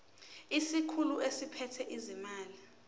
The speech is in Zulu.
isikhulu esiphethe ezezimali